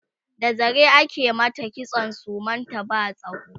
da zare ake mata kitson suman ta ba tsawo